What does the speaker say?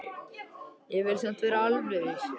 Ég vil samt vera alveg viss.